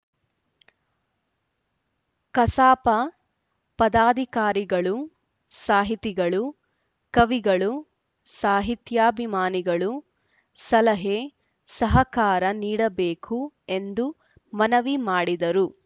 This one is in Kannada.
ಕಸಾಪ ಪದಾಧಿಕಾರಿಗಳು ಸಾಹಿತಿಗಳು ಕವಿಗಳು ಸಾಹಿತ್ಯಾಭಿಮಾನಿಗಳು ಸಲಹೆ ಸಹಕಾರ ನೀಡಬೇಕು ಎಂದು ಮನವಿ ಮಾಡಿದರು